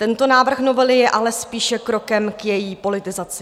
Tento návrh novely je ale spíše krokem k její politizaci.